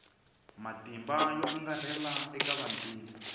matimba yo angarhela eka vantima